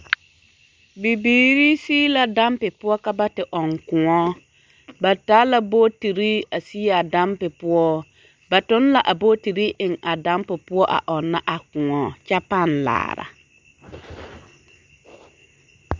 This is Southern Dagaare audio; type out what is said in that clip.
Bibiiri sigi la dampi poɔ ka ba te ɔŋ kõɔ, ba taa la bootiri a sigi a dampi poɔ, ba toŋ la a bootiri eŋ a dampi poɔ a ɔnnɔ a kõɔ kyɛ pãã laara.